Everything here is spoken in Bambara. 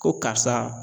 Ko karisa